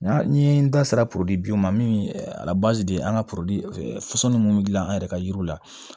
Nka ni n da sera poli ma min an ka minnu bɛ dilan an yɛrɛ ka yiriw la